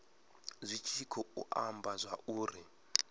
zwi tshi khou amba zwauri